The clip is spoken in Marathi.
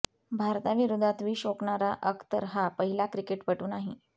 भारताविरोधात विष ओकणारा अख्तर हा पहिला क्रिकेटपटू नाही